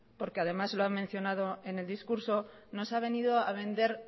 porque además se lo han mencionado en el discurso nos ha venido a vender